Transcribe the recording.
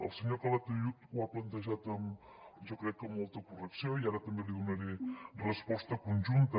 el senyor calatayud ho ha plantejat jo crec que amb molta correcció i ara també li donaré resposta conjunta